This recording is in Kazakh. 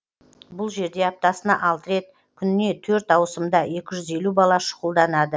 бұл жерде аптасына алты рет күніне төрт ауысымда екі жүз елу бала шұғылданады